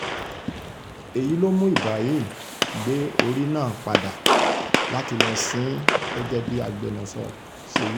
èyí ló mú ibrahim gbé orí náà padà láti lọ́ọ sìn ín gẹ́gẹ́ bí agbẹnusọ ṣe wí